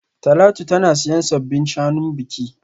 Talatu tana siyan sabbin shanun biki